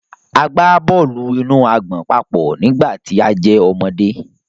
A gba bọọlu-inu-agbọn papọ nigbati a jẹ ọmọde.